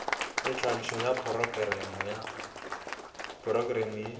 le tlhagišo ya porokerama ye